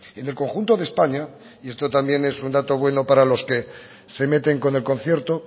en el conjunto de españa y esto también es un dato bueno para los que se meten con el concierto